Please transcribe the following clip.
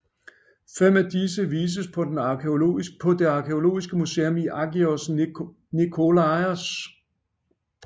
Fem af disse vises på det arkæologiske museum i Agios Nikolaos